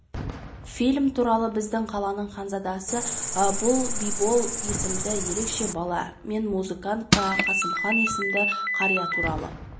фильм туралы біздің қаланың ханзадасы бұл бибол есімді ерекше бала мен музыкант қасымхан есімді қария туралы